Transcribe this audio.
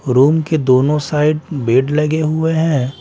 Room के दोनों side bed लगे हुए हैं ।